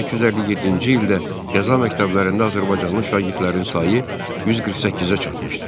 1857-ci ildə qəza məktəblərində azərbaycanlı şagirdlərin sayı 148-ə çatmışdı.